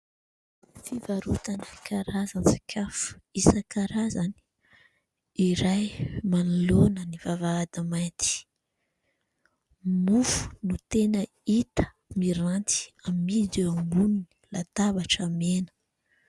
Fivarotana karazana sakafo isan-karazany iray manoloana ny vavahady mainty. Mofo no tena hita miranty amidy eo ambonin'ny latabatra mena.